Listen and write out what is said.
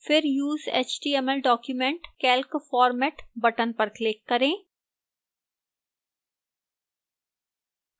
फिर use html document calc format button पर click करें